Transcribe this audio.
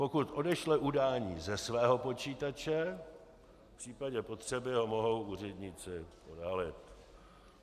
Pokud odešle udání ze svého počítače, v případě potřeby ho mohou úředníci odhalit.